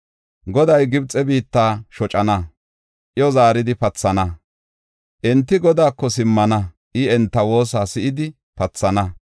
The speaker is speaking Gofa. Goday Gibxe biitta shocana; iyo zaaridi pathana. Enti Godaako simmana; I enta woosa si7idi pathana.